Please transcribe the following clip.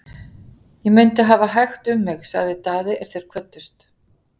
Ég mundi hafa hægt um mig, sagði Daði er þeir kvöddust.